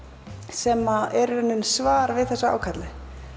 sem eru svar við þessu ákalli